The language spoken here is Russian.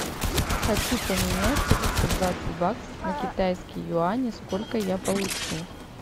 хочу поменять триста двадцать баксов на китайские юани сколько я получу